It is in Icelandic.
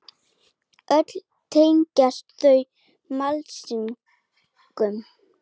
Öll tengjast þau mannlýsingum.